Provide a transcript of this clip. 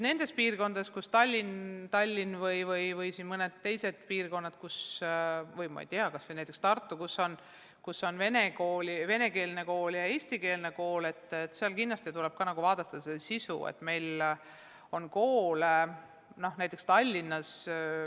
Nendes piirkondades, näiteks Tallinnas või mõnes teises piirkonnas, kas või näiteks Tartus, kus on nii venekeelne kool kui ka eestikeelne kool, tuleb kindlasti vaadata ka koolide töö sisu.